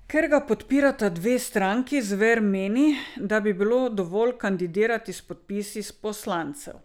Ker ga podpirata dve stranki, Zver meni, da bi bilo dovolj kandidirati s podpisi poslancev.